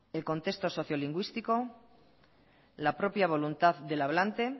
el contexto sociolingüístico la propia voluntad del hablante